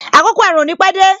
Àkọ́kọ́ ẹ̀rùn ò ní pẹ dé